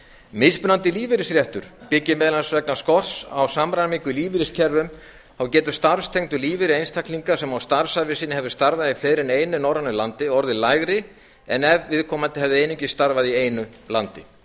mismunandi lífeyrisréttur byggir meðal annars vegna skorts á samræmingu lífeyriskerfum þá getur starfstengdur lífeyrir einstaklings sem á starfsævi sinni hefur starfað í fleiri en einu norrænu landi orðið lægri en ef við komandi hefði einungis starfað í einu landi